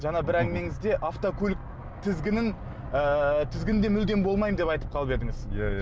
жаңа бір әңгімеңізде автокөлік тізгінін ыыы тізгінде мүлде болмаймын деп айтып қалып едіңіз иә иә